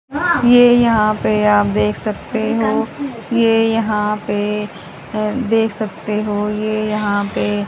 ये यहां पे आप देख सकते हो ये यहां पे देख सकते हो ये यहां पे--